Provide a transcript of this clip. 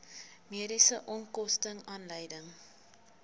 mediese onkoste aanleiding